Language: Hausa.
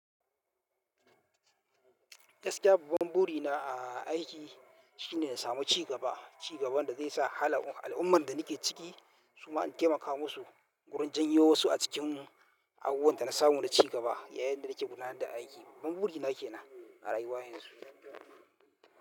Gaskiya babban burina a, a aiki shine in samu cigaba, cigaban da zai sa hal al'ummar da nake ciki su ma in taimaka musu wurin janyo wasu a cikin abubuwan da na samu na cigaba yayin da nake gudanar da aiki. Babban burina ke nan a rayuwa yanzu.